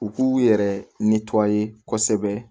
U k'u yɛrɛ kosɛbɛ